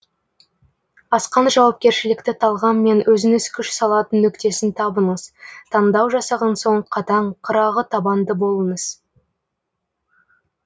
асқан жауапкершілікті талғаммен өзіңіз күш салатын нүктесін табыңыз таңдау жасаған соң қатаң қырағы табанды болыңыз